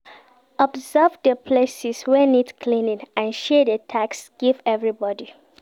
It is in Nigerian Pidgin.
Observe di places wey need cleaning and share de task give everybody